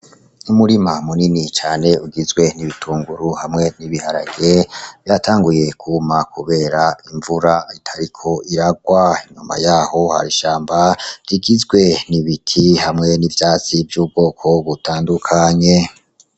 Umurima munini cane ugizwe n'ibitunguru hamwe n'ibiharage. Vyatanguye kwuma kubera imvura itariko iragwa. Inyuma yaho hari ishamba rigizwe n'ibiti hamwe n'ivyatsi vy'ubwoko butandukanye.